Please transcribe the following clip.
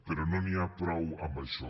però no n’hi ha prou amb això